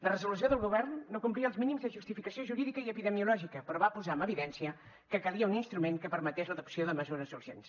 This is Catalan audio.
la resolució del govern no complia els mínims de justificació jurídica i epidemiològica però va posar en evidència que calia un instrument que permetés l’adopció de mesures urgents